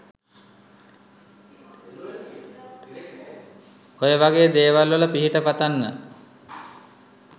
ඔයවගෙ දෙවල් වල පිහිට පතන්න